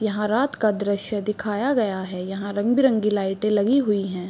यहाँ रात का दृश्य दिखाया गया है यहाँ रंग बिरंगी लाइटे लगाई गयी है।